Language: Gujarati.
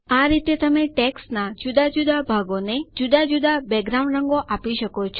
આ રીતે તમે ટેક્સ્ટનાં જુદા જુદા ભાગોને જુદા જુદા બેકગ્રાઉન્ડ રંગો આપી શકો છો